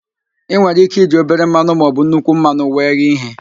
I nwere ike iji obere mmanụ maọbụ nnukwu mmanụ wee ghee ihe